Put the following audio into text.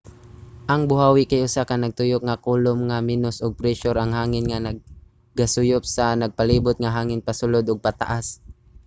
ang buhawi kay usa ka nagtuyok nga kolum nga menos og presyur ang hangin nga nagasuyop sa nagpalibot nga hangin pasulod ug pataas